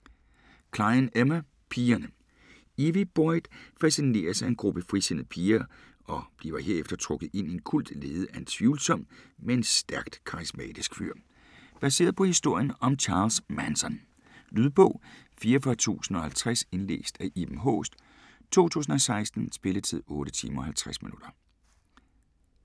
Cline, Emma: Pigerne Evie Boyd fascineres af en gruppe frisindede piger, og bliver herefter trukket ind i en kult ledet af en tvivlsom, men stærkt karismatisk fyr. Baseret på historien om Charles Manson. Lydbog 44050 Indlæst af Iben Haaest, 2016. Spilletid: 8 timer, 50 minutter.